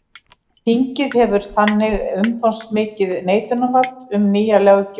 Þingið hefur þannig umfangsmikið neitunarvald um nýja löggjöf.